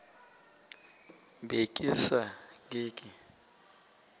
be ke sa ke ke